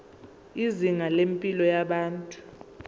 izinga lempilo yabantu